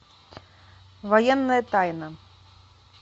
военная тайна